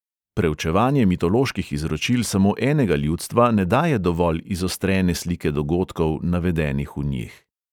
Preučevanje mitoloških izročil samo enega ljudstva ne daje dovolj izostrene slike dogodkov, navedenih v njih.